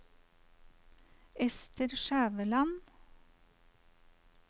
Ester Skjæveland